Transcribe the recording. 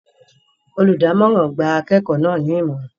Olùdámọ̀ràn gba akẹ́kọ̀ọ́ náà ní Ìmọ̀ràn